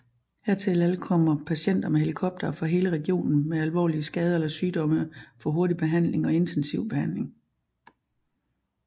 Hertil ankommer patienter med helikoptere fra hele regionen med alvorlige skader eller sygdomme for hurtig behandling og intensivbehandling